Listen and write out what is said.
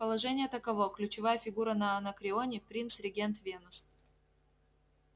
положение таково ключевая фигура на анакреоне принц-регент венус